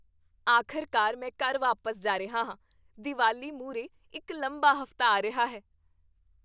ਆਖਰਕਾਰ ਮੈਂ ਘਰ ਵਾਪਸ ਜਾ ਰਿਹਾ ਹਾਂ। ਦੀਵਾਲੀ ਮੂਹਰੇ ਇੱਕ ਲੰਬਾ ਹਫ਼ਤਾ ਆ ਰਿਹਾ ਹੈ।